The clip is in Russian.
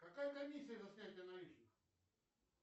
какая комиссия за снятие наличных